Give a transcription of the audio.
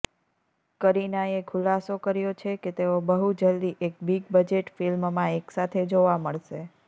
કરીનાએ ખુલાસો કર્યો છે કે તેઓ બહુ જલ્દી એક બિગ બજેટ ફિલ્મમાં એકસાથે જોવા મળશે